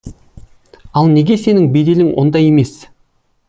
ал неге сенің беделің ондай емес